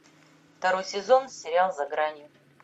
второй сезон сериал за гранью